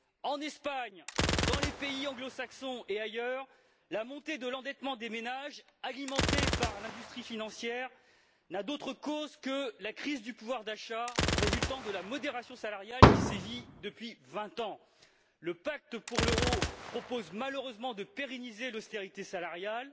En Espagne, dans les pays anglo saxons et ailleurs, la montée de l'endettement des ménages, alimentée par l'industrie financière, n'a d'autre cause que la crise du pouvoir d'achat résultant de la modération salariale qui sévit depuis vingt ans. Le pacte pour l'euro propose malheureusement de pérenniser l'austérité salariale.